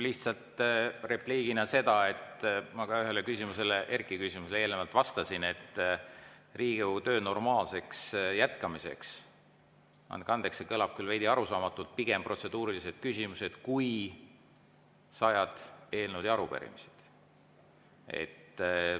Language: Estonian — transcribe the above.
Lihtsalt repliigina, et ma ka ühele küsimusele, Erkki küsimusele eelnevalt vastasin, et Riigikogu töö normaalseks jätkamiseks – andke andeks, see kõlab küll veidi arusaamatult – olgu pigem protseduurilised küsimused kui sajad eelnõud ja arupärimised.